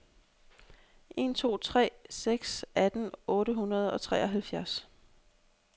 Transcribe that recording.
en to tre seks atten otte hundrede og treoghalvtreds